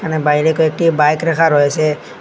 বাইরে কয়েকটি বাইক রাখা রয়েছে।